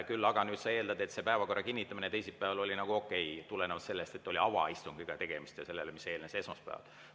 Küll aga nüüd sa eeldad, et see päevakorra kinnitamine teisipäeval oli nagu okei tulenevalt sellest, et oli tegemist avaistungiga ja sellega, mis eelnes esmaspäeval.